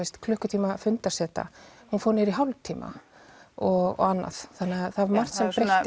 klukkutíma fundarseta hún fór niður í hálftíma og annað þannig að það var margt